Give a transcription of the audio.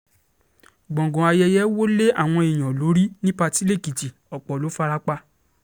um gbọ̀ngàn ayẹyẹ wo lé àwọn um èèyàn lórí ní pátì lẹ́kìtì ọ̀pọ̀ ló fara pa